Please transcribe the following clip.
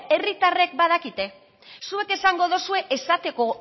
herritarrek badakite zuek esango duzue esateko